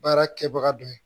Baara kɛbaga dɔ ye